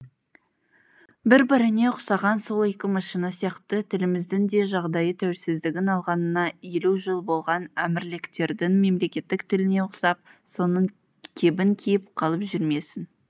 бір біріне ұқсаған сол екі машина сияқты тіліміздің де жағдайы тәуелсіздігін алғанына елу жыл болған әмірліктердің мемлекеттік тіліне ұқсап соның кебін киіп қалып жүрмесін